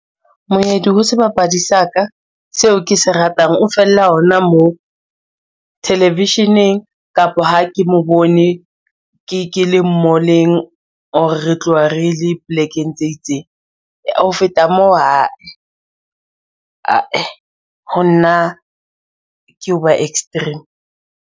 Moedi ho sebapadi sa ka seo ke se ratang o fella hona moo, television-eng kapa ha ke mo bone ke le mall-eng or re tloha re le plekeng tse itseng. Ho feta moo, ha e, ae ho nna ke hoba extreme.